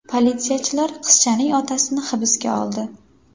Politsiyachilar qizchaning otasini hibsga oldi.